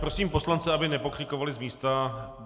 Prosím poslance, aby nepokřikovali z místa.